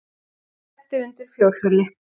Lenti undir fjórhjóli